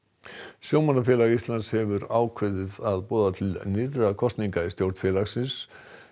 sjómannafélag Íslands hefur ákveðið að boða til nýrra kosninga í stjórn félagsins